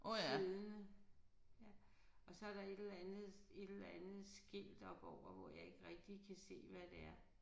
Siddende ja og så der et eller andet et eller andet skilt oppe over hvor jeg ikke rigtig kan se hvad det er